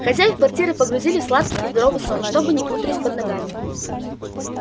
хозяев квартиры погрузили в сладкий и здоровый сон чтобы не путались под ногами